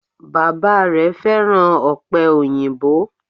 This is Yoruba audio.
Bàbá rè fẹ́ràn òpè òyìnbó